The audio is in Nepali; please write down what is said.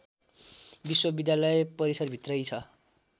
विश्वविद्यालय परिसरभित्रै छ